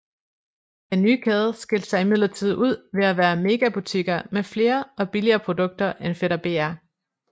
Den nye kæde skilte sig imidlertid ud ved at være megabutikker med flere og billigere produkter end Fætter BR